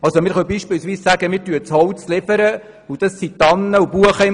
Wir können beispielsweise sagen, wir liefern das Holz und im Wald stehen Tannen und Buchen.